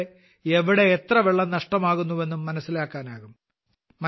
ഇതിലൂടെ എവിടെ എത്ര വെള്ളം നഷ്ടമാകുന്നു എന്ന് മനസ്സിലാക്കാനാകും